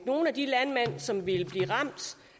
nogle af de landmænd som ville blive ramt